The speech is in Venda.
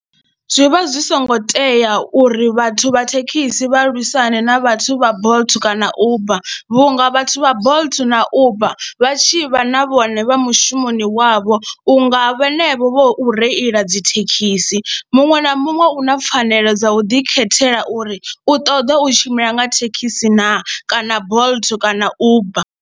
Zwi vha zwi songo tea uri vhathu vha thekhisi vha luisimane na vhathu vha Bolt kana Uber vhunga vhathu vha Bolt na Uber vha tshi vha na vhone vha mushumoni wavho vho u nga vhenevho vho u reila dzi thekhisi, muṅwe na muṅwe u na pfhanelo dza u ḓikhethela uri u ṱoḓa u tshimbila nga thekhisi naa kana Bolt kana Uber.